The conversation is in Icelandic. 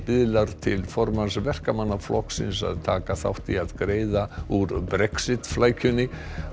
biðlar til formanns Verkamannaflokksins að taka þátt í að greiða úr Brexit flækjunni